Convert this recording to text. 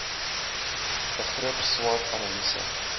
begrip swot analise